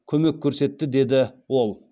көмек көрсетті деді ол